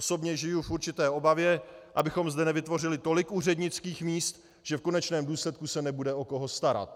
Osobně žiji v určité obavě, abychom zde nevytvořili tolik úřednických míst, že v konečném důsledku se nebude o koho starat.